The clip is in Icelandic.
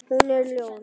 Hún er ljón.